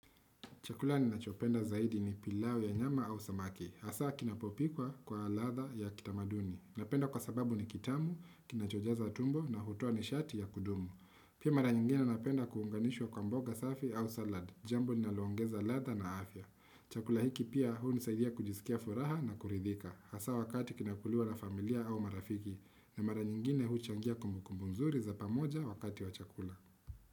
Chakula ni nachopenda zaidi ni pilau ya nyama au samaki. Hasa kinapopikwa kwa latha ya kitamaduni. Napenda kwa sababu ni kitamu, kinachojaza tumbo na hutua ni shati ya kudumu. Pia mara nyingine napenda kuunganishwa kwa mboga safi au salad. Jambo ni nalongeza ladha na afya. Chakula hiki pia huu nisaidia kujisikia furaha na kuridhika. Hasa wakati kinakulua na familia au marafiki. Na mara nyingine huchangia kumukumbunzuri za pamoja wakati wa chakula.